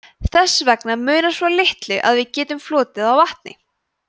þess vegna munar svo litlu að við getum flotið á vatni